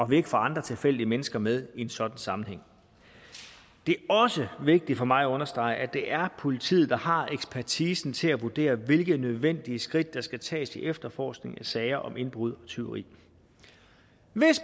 vi ikke får andre tilfældige mennesker med i en sådan sammenhæng det er også vigtigt for mig at understrege at det er politiet der har ekspertisen til at vurdere hvilke nødvendige skridt der skal tages i efterforskningen af sager om indbrud og tyveri